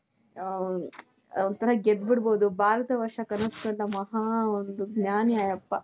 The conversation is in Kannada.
ಆ ಊo ಒಂತರ ಗೆದ್ಬಿಡಬಹುದು ಭಾರತವರ್ಷ ಕನಸು ಕಂಡ ಮಹಾ ಒಂದು ಜ್ಞಾನಿ ಆ ಯಪ್ಪಾ